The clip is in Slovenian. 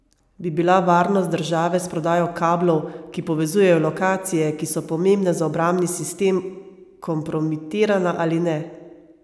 Bi bila varnost države s prodajo kablov, ki povezujejo lokacije, ki so pomembne za obrambni sistem, kompromitirana ali ne?